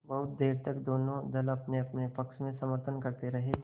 बहुत देर तक दोनों दल अपनेअपने पक्ष का समर्थन करते रहे